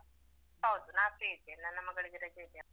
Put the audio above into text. ಮತ್ತೆ, ಹೌದು ನಾನು ನಾನ್ free ಇದ್ದೇನೆ ನನ್ನ ಮಗಳಿಗೆ ರಜೆ ಇದ್ಯಲ್ಲ.